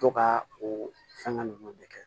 To ka o fɛnkɛ ninnu bɛɛ kɛ